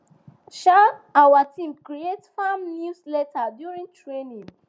um our team create farm newsletter during training